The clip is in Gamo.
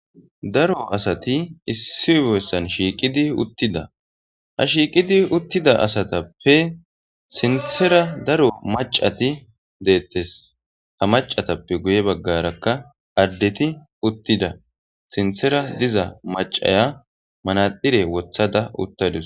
"Daro asati issi bessan shiiqidi uttida, Ha shiiqidi uttida asatappe sinththera daro maccati detees ha maccatappe guye baggrakka addeti uttida sinththera diya maccaya manaxire wothada uttadus."